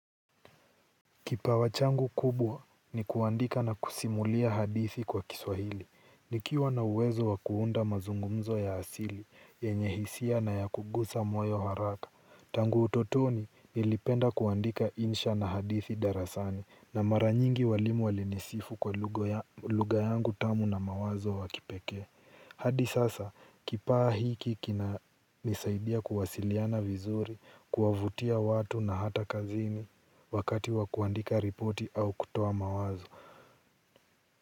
Kipawa changu kubwa ni kuandika na kusimulia hadithi kwa Kiswahili. Nikiwa na uwezo wa kuunda mazungumzo ya asili yenye hisia na ya kugusa moyo haraka. Tangu utotoni nilipenda kuandika insha na hadithi darasani na mara nyingi walimu walinisifu kwa lugha yangu tamu na mawazo ya kipekee. Hadi sasa kipawa hiki kinanisaidia kuwasiliana vizuri kuwavutia watu na hata kazini wakati wa kuandika ripoti au kutoa mawazo.